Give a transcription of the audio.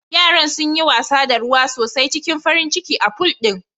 Yaran sunyi wasa da ruwa sosai cikin farin ciki a pool din